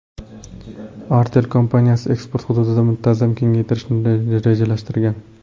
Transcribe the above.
Artel kompaniyasi eksport hududini muntazam kengaytirishni rejalashtirgan.